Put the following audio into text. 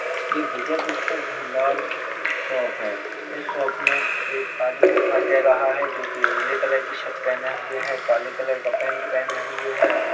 यह विजय पुस्तक भंडार शॉप है इस शॉप में एक आदमी दिखाई दे रहा है जो की नीले कलर की शर्ट पहने हुए है काले कलर का पेंट पहने हुए है।